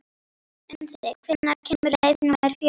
Unnsi, hvenær kemur leið númer fjögur?